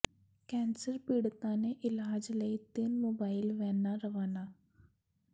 cancer ਪੀੜਤਾਂ ਦੇ ਇਲਾਜ ਲਈ ਤਿੰਨ ਮੋਬਾਈਲ ਵੈਨਾਂ ਰਵਾਨਾ